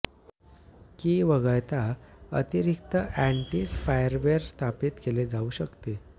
की वगळता अतिरिक्त अँटी स्पायवेअर स्थापित केले जाऊ शकते